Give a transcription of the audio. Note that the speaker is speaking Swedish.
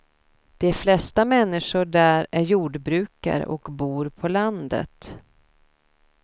De flesta människor där är jordbrukare och bor på landet.